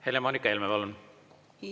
Helle-Moonika Helme, palun!